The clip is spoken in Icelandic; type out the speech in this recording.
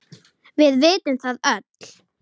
Við vitum það öll.